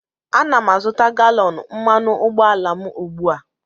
Ana m azụta galọn mmanụ ụgbọala m ugbu a